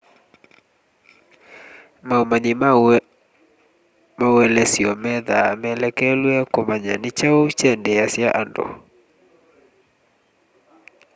maũmanyi ma maũelesyo methaa melekelwe kũmanya nĩ kyaũ kyendeeasya andũ